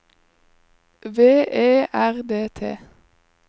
V E R D T